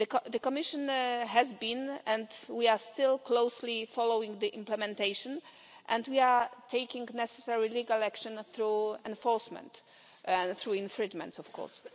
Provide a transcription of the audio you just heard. The Commission has been and we are still closely following the implementation, and we are taking the necessary legal action through enforcement, through infringements, of course.